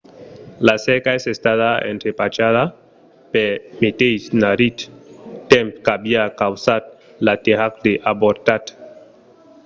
la cerca es estada entrepachada pel meteis marrit temps qu'aviá causat l'aterratge avortat